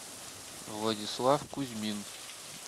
владислав кузьмин